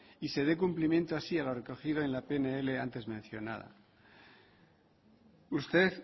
y se dé cumplimiento así a lo recogido en la pnl antes mencionada usted